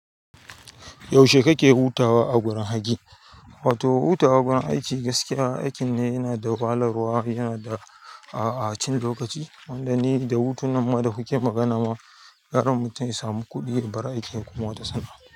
Yaushe kake hutawa a gurin aiki? Wato hutawa gurin aiki gaskiya aikin ne yana da wahalarwa, yana da a a a cin lokaci, wanda ni da hutun nan ma da kuke magana ma gara mutum ya samu kuɗi ya bar aikin ya koma wata sana'a.